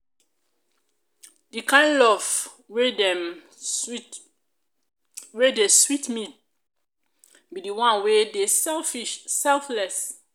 the kin lof wey dem sweet wey dey sweet me be the one wey dey selfless.